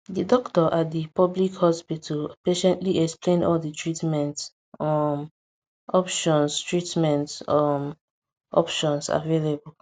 the doctor at the public hospital patiently explained all the treatment um options treatment um options available